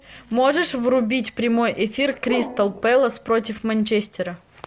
можешь врубить прямой эфир кристал пэлас против манчестера